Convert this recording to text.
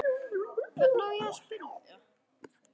Hvern á ég að spyrja?